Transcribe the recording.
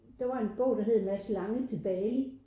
Der var en bog der hed Mads lange til Bali